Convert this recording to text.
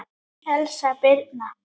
Elsa Birna.